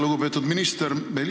Lugupeetud minister!